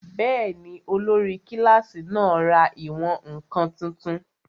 Bẹ́ẹ̀ni, olórí kílásì náà ra ìwọ̀n-ǹkan tuntun